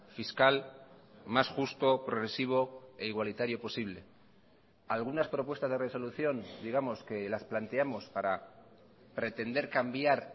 fiscal mas justo progresivo e igualitario posible algunas propuestas de resolución digamos que las planteamos para pretender cambiar